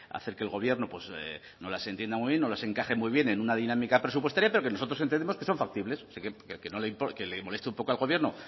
hacer que el gobierno pues no las entienda muy bien no las encaje muy bien en una dinámica presupuestaria pero que nosotros entendemos que son factibles que le moleste un poco al gobierno